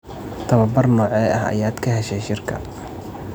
Tababar noocee ah ayaad ka heshay shirka?